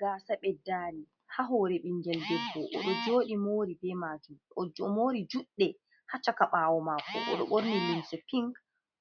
Gasa ɓeddari ha hore ɓingel debbo o joɗi mori be majum. O mori juɗɗe ha caka ɓawo mako o ɗo ɓorni limse pinc,